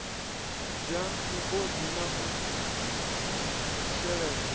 bwa migodi na u sheledza